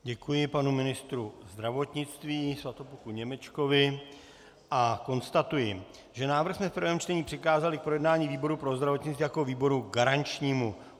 Děkuji panu ministru zdravotnictví Svatopluku Němečkovi a konstatuji, že návrh jsme v prvém čtení přikázali k projednání výboru pro zdravotnictví jako výboru garančnímu.